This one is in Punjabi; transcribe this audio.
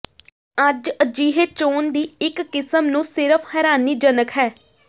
ਅੱਜ ਅਜਿਹੇ ਚੋਣ ਦੀ ਇੱਕ ਕਿਸਮ ਨੂੰ ਸਿਰਫ਼ ਹੈਰਾਨੀਜਨਕ ਹੈ